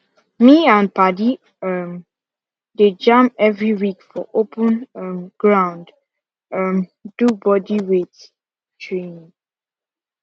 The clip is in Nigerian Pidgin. me and padi um dey jam every week for open um ground um do bodyweight training